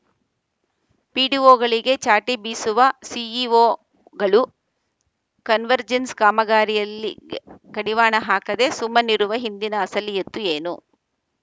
ಪಿಡಿಒಗಳಿಗೆ ಚಾಟಿ ಬೀಸುವ ಸಿಇಒಗಳು ಕನ್ವರ್ಜೆನ್ಸ್‌ ಕಾಮಗಾರಿಯಲ್ಲಿ ಇ ಕಡಿವಾಣ ಹಾಕದೆ ಸುಮ್ಮನಿರುವ ಹಿಂದಿನ ಅಸಲೀಯತ್ತು ಏನು